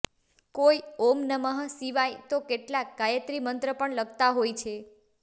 કોઈ ઓમ નમઃ શિવાય તો કેટલાક ગાયત્રી મંત્ર પણ લખતા હોય છે